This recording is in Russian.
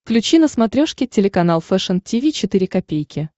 включи на смотрешке телеканал фэшн ти ви четыре ка